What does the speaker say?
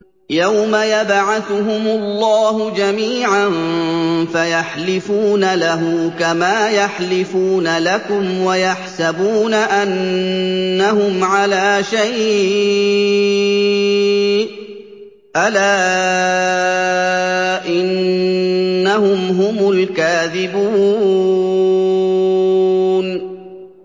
يَوْمَ يَبْعَثُهُمُ اللَّهُ جَمِيعًا فَيَحْلِفُونَ لَهُ كَمَا يَحْلِفُونَ لَكُمْ ۖ وَيَحْسَبُونَ أَنَّهُمْ عَلَىٰ شَيْءٍ ۚ أَلَا إِنَّهُمْ هُمُ الْكَاذِبُونَ